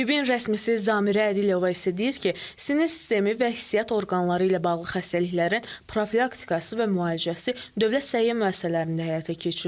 Təbibin rəsmisi Zamirə Ədilova isə deyir ki, sinir sistemi və hissiyyat orqanları ilə bağlı xəstəliklərin profilaktikası və müalicəsi dövlət səhiyyə müəssisələrində həyata keçirilir.